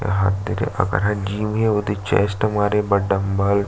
यह तरी एक जीम हे उ चेस्ट मारे बंदा डम्ब्बल --